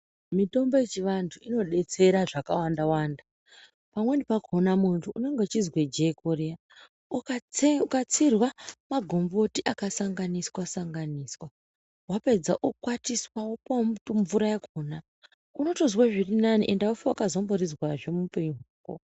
Mitombo yechivantu inobetsera zvakawanda wanda pamweni pakona muntu unenge uchizwe jeko riya, ukatsirwa magomboti akasanganiswa sanganiswa wapedza okwatiswa opuwa mvura yakona unotozwe zvirinani ende aufi wakazomborizwazve muupenyu.